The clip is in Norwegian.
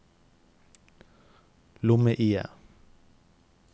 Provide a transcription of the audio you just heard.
lomme-IE